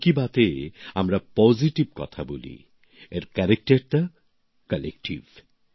মন কি বাত এ আমরা ইতিবাচক কথা বলি এর বৈশিষ্টটা সঙ্ঘবদ্ধ